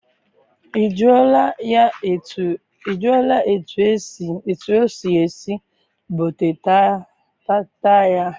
I jụọla e tu osi esi bota taat ya?